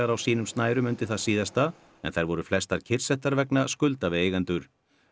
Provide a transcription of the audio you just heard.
á sínum snærum undir það síðasta en þær voru flestar kyrrsettar vegna skulda við eigendur